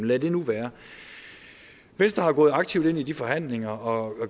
lad det nu være venstre er gået aktivt ind i de forhandlinger og